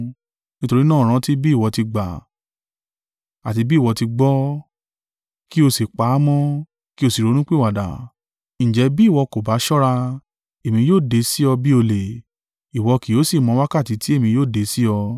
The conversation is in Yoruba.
Nítorí náà rántí bí ìwọ ti gbà, àti bí ìwọ ti gbọ́, kí o sì pa á mọ́, kí o sì ronúpìwàdà. Ǹjẹ́, bí ìwọ kò ba ṣọ́ra, èmi yóò dé sí ọ bí olè, ìwọ kì yóò sì mọ́ wákàtí tí èmi yóò dé sí ọ.